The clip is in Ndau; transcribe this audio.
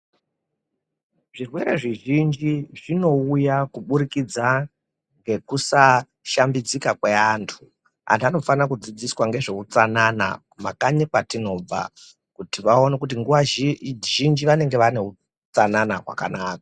Zvirwere zvizhinji zvinowuya kuburikidza ngekusashambidzika kweantu, anhu anofanira kudzidziswa ngezvehutsanana mumakanyi kwatinobva ,kuti vawone kuti nguva zhinji vanenge vaine hutsanana hwakanaka.